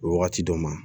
Wagati dɔ ma